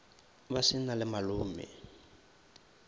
ba se na le malome